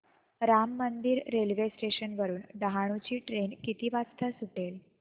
Ram Mandir railway station वरुन डहाणू ची train किती वाजता सुटेल